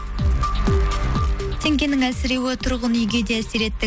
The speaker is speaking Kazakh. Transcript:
теңгенің әлсіреуі тұрғын үйге де әсер етті